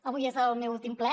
avui és el meu últim ple